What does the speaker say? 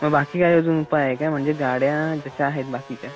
म बाकी काय अजून उपाय आहे का? म्हणजे गाड्या जश्या आहेत बाकीच्या